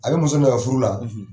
A be muso ni de ka furu la,